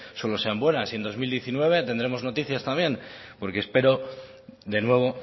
solo sean buenas y en dos mil diecinueve tendremos noticias también porque espero de nuevo